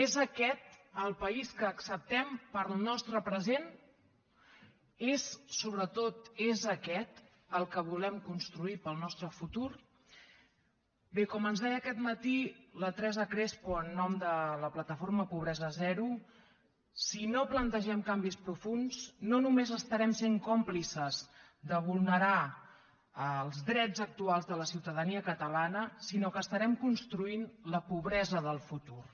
és aquest el país que acceptem per al nostre present és sobretot aquest el que volem construir per al nostre futur bé com ens deia aquest matí la teresa crespo en nom de la plataforma pobresa zero si no plantegem canvis profunds no només estarem sent còmplices de vulnerar els drets actuals de la ciutadania catalana sinó que estarem construint la pobresa del futur